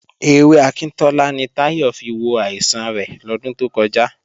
Ewé akíntọ́lá ni Táyọ̀ fi wo àìsàn rẹ̀ lọ́dún tó kọjá